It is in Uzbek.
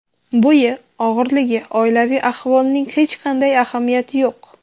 Bo‘yi, og‘irligi, oilaviy ahvolining hech qanday ahamiyati yo‘q.